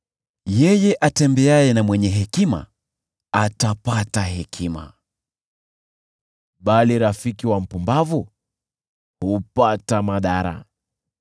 Yeye atembeaye na mwenye hekima atapata hekima, bali rafiki wa mpumbavu hupata madhara.